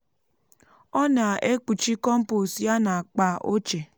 ọ na-ekpuchi kọmpost ya na akpa ochie.